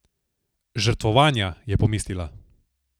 Žrtvovanja, je pomislila.